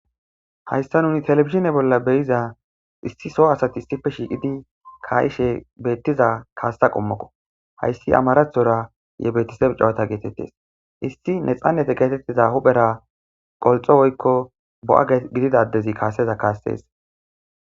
hayssa nuni telebisine bolla beyiza issi so asati issife shiiqidi kaayishe beettiza kaasta qommokko hayssi amarathora ye betisebicawata geetettes issi ne xannete geetettiza huphera qolxo woykko bo7a gididaddezi kaaseza kaastees